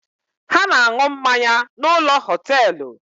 Ha na-aṅu mmanya n’ ụlọ họtelụ